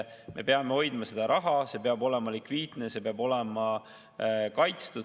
Me peame hoidma seda raha, see peab olema likviidne, see peab olema kaitstud.